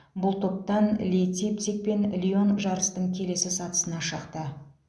бұл топтан лейпциг пен лион жарыстың келесі сатысына шықты